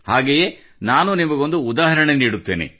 ಹಾಗೆಯೇ ನಾನು ನಿಮಗೊಂದು ಉದಾಹರಣೆ ನೀಡುತ್ತೇನೆ